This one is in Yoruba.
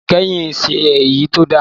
Ìdìbò ìkẹyìn kìí ṣe èyí tó da